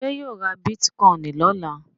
Ṣé yóò ra bítíkọ́ìn lọ́la?